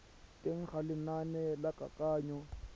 teng ga lenane la kananyo